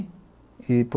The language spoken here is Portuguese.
e por